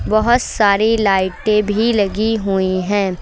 बहोत सारी लाइटें भी लगी हुई है।